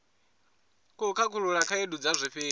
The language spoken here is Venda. khou khakhulula khaedu dza zwifhinga